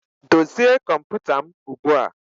Dozie kọmputa m ugbu a!